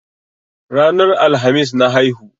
Ranar Alhamis na haihu.